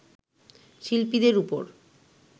শিল্পীদের ওপর